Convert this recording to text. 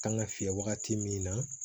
Kan ka fiyɛ wagati min na